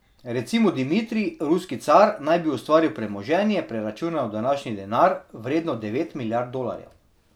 Recimo Dimitrij, ruski car, naj bi ustvaril premoženje, preračunano v današnji denar, vredno devet milijard dolarjev.